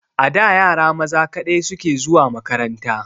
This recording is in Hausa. A da yara maza kaɗai suke zuwa makaranta.